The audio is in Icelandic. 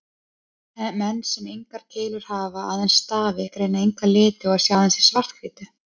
Menn sem engar keilur hafa, aðeins stafi, greina enga liti og sjá aðeins í svart-hvítu.